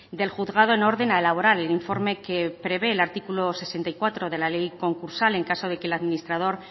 del juzgado en orden a elaborar el informe que prevé el artículo sesenta y cuatro de la ley concursal en caso de que el administrador